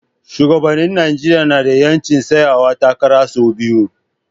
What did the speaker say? Shugabannin Najeriya na da 'yancin tsayawa takara sau biyu.